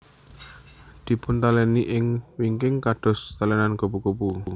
Dipuntalèni ing wingking kados talènan kupu kupu